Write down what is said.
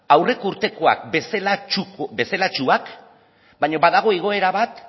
aurreko urtekoak bezalatsuak baina badago igoera bat